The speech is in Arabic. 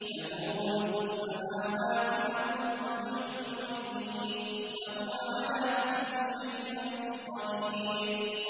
لَهُ مُلْكُ السَّمَاوَاتِ وَالْأَرْضِ ۖ يُحْيِي وَيُمِيتُ ۖ وَهُوَ عَلَىٰ كُلِّ شَيْءٍ قَدِيرٌ